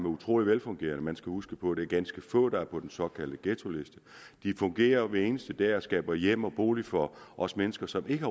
utrolig velfungerende man skal huske på at det er ganske få der er på den såkaldte ghettoliste de fungerer hver eneste dag og skaber hjem og bolig for os mennesker som ikke